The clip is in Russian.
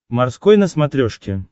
морской на смотрешке